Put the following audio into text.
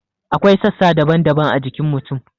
Akwai sassa daban-daban a jikin mutum.